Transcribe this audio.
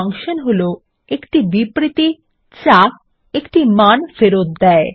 function হলো একটি বিবৃতি যা একটি মান ফেরত দেয়